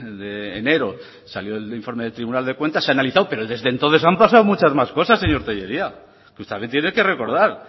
de enero salió el informe del tribunal de cuentas se ha analizado pero desde entonces han pasado muchas más cosas señor tellería también tiene que recordar